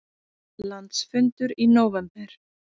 Landsfundur í nóvember